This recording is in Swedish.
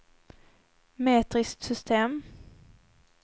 metriskt system